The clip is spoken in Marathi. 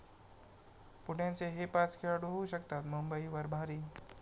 पुण्याचे हे पाच खेळाडू होऊ शकतात मुंबईवर भारी